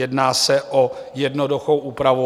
Jedná se o jednoduchou úpravu.